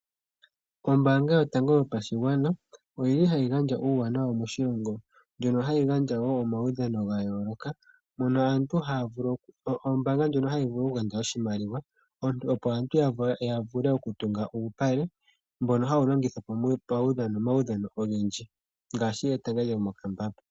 Ombaanga yotango yopashigwana oyili hayi gandja uuwanawa moshilongo , ndjono hayi gandja wo omaudhano gayooloka, mono ombaanga hayi gandja iimaliwa , opo aantu yavule okutunga uupale mbono longithwa momaudhano ogendji ngaashi etanga lyomokapale.